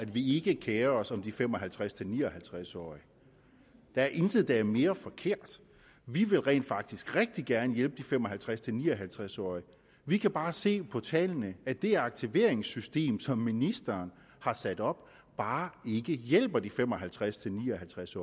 vi ikke kerer os om de fem og halvtreds til ni og halvtreds årige der er intet der er mere forkert vi vil rent faktisk rigtig gerne hjælpe de fem og halvtreds til ni og halvtreds årige vi kan bare se på tallene at det aktiveringssystem som ministeren har sat op bare ikke hjælper de fem og halvtreds til ni og halvtreds